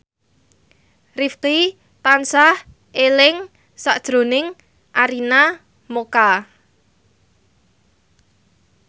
Rifqi tansah eling sakjroning Arina Mocca